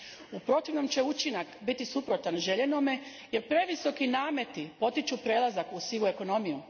U protivnome će učinak biti suprotan željenome, jer previsoki nameti potiču prelazak u sivu ekonomiju.